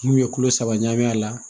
N'u ye kulo saba ɲagam'a la